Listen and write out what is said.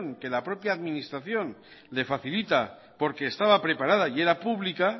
que la propia administración le facilita porque estaba preparada y era pública